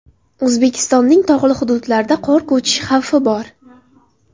O‘zbekistonning tog‘li hududlarida qor ko‘chishi xavfi bor .